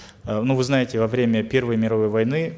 э ну вы знаете во время первой мировой войны